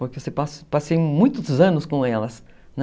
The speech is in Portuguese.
Porque você passa muitos anos com elas, né?